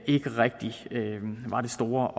ikke rigtig var det store